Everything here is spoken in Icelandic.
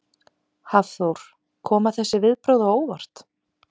Hafþór: Koma þessi viðbrögð á óvart?